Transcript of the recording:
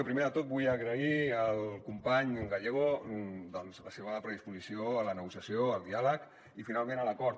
primer de tot vull agrair al company gallego la seva predisposició a la negociació al diàleg i finalment a l’acord